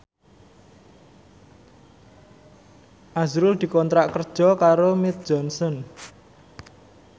azrul dikontrak kerja karo Mead Johnson